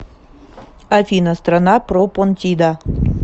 афина страна пропонтида